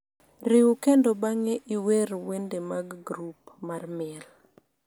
riw kendo bang'e iwer wende mag grup mar miel